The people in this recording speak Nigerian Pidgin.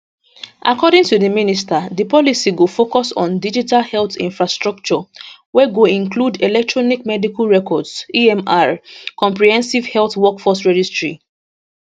according to di minister di policy go focus on digital health infrastructure wey go include electronic medical records emr comprehensive health workforce registry